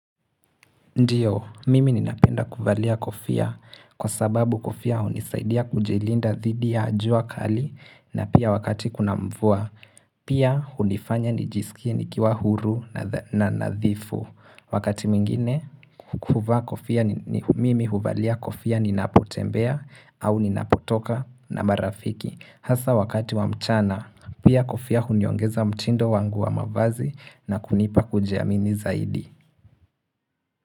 Ndiyo, mimi ninapenda kuvalia kofia kwa sababu kofia hunisaidia kujilinda dhidi ya jua kali na pia wakati kuna mvua, pia hunifanya nijisikie nikiwa huru na nadhifu. Wakati mwingine, human kofia mimi huvalia kofia ninapotembea au ninapotoka na marafiki. Hasa wakati wa mchana, pia kofia huniongeza mtindo wangu wa mavazi na kunipa kujiamini zaidi.